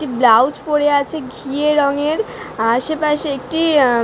একটি ব্লাউজ পরে আছে ঘিয়ে রঙের। আসে পশে একটি আ ।